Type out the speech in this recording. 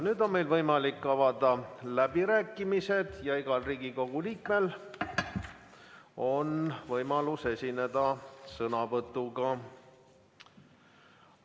Nüüd on meil võimalik avada läbirääkimised ja igal Riigikogu liikmel on võimalus esineda sõnavõtuga.